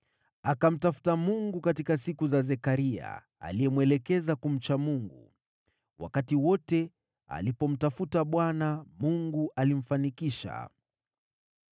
Akamtafuta Mungu katika siku za Zekaria, aliyemwelekeza kumcha Mungu. Wakati wote alipomtafuta Bwana , Mungu alimfanikisha.